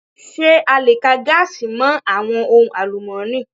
Ṣé a le ka gaasi mọ àwọn ohun àlùmọ́ni?